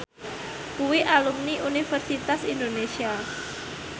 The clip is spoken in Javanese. kuwi alumni Universitas Indonesia